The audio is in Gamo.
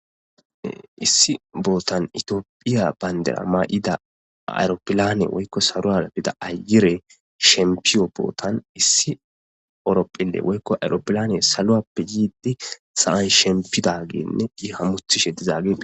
issi bootan itiophiya bayndera ma7ida aeropilane woykko saru aabida ayire shempiyo bootan issi ooropphile woykko aeropilane saloappe yiiddi sa7ay shempida geenne i hamuthi she dizaagie